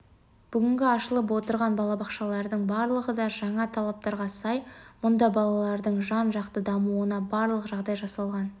бүгінгі ашылып отырған балабақшалардың барлығы да жаңа талаптарға сай мұнда балалардың жан-жақты дамуына барлық жағдай жасалған